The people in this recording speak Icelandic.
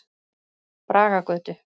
Bragagötu